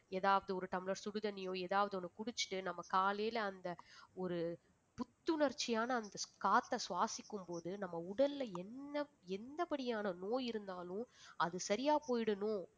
ஏதாவது ஒரு tumbler சுடுதண்ணீயோ ஏதாவது ஒண்ணு குடிச்சிட்டு நம்ம காலையில அந்த ஒரு புத்துணர்ச்சியான அந்த காற்றை சுவாசிக்கும்போது நம்ம உடல்ல என்ன என்ன படியான நோய் இருந்தாலும் அது சரியா போயிடணும்